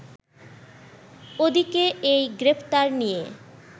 ওদিকে এই গ্রেফতার নিয়ে